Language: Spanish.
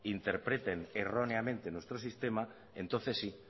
interpreten erróneamente nuestro sistema entonces sí